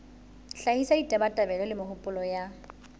hlahisa ditabatabelo le mehopolo ya